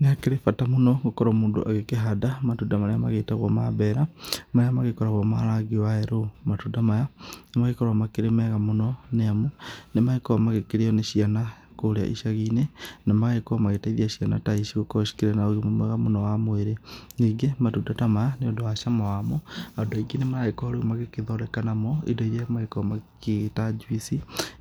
Nĩ hakĩrĩ bata mũno gũkorwo mũndũ agĩkĩhanda matunda marĩa magĩtagwo ma mbera marĩa magĩkoragwo ma rangi wa yerũ. Matunda maya nĩ magĩkoragwo me mega mũno nĩ amu nĩmagĩkoragwo magĩkĩrĩo nĩ ciana kũrĩa icagi-inĩ na magakorwo magĩteithia ciana ta icio gũkorwo cikĩrĩ naũgima mwega mũno wa mwĩrĩ. Ningĩ matunda ta maya nĩ ũndũ wa cama wamo andũ aingĩ nĩmarakorwo rĩu magĩthondeka namo indo iria magĩkoragwo magĩgĩta njuici,